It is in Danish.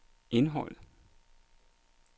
indholdet